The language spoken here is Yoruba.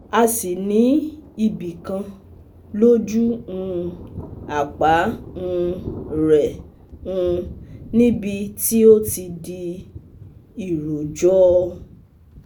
A sì ní ibi kan lójú um àpá um rẹ̀ um níbi tí ó ti di iròjò